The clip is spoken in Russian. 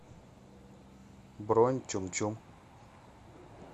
бронь чум чум